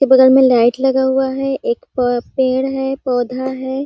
उस के बगल में लाइट लगा हुआ है एक प पेड़ है पौधा है ।